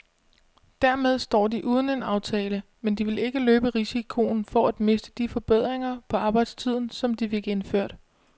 Dermed står de uden en aftale, men de vil ikke løbe risikoen for at miste de forbedringer på arbejdstiden, som de fik indført.